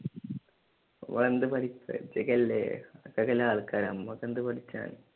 അഹ് എന്തു പഠിപ്പ് ഇജ്ജോക്കെയല്ലേ ആള്‍ക്കാര് നമ്മളൊക്കെ എന്ത് പഠിക്കാം?